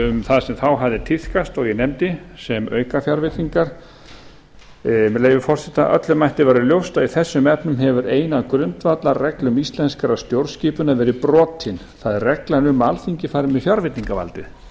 um það sem þá hafði tíðkast og ég nefndi sem aukafjárveitingar með leyfi forseta öllum ætti að vera ljóst að í þessum efnum hefur ein af grundvallarreglum íslenskrar stjórnskipunar verið brotin það er reglan um að alþingi fari með fjárveitingavaldið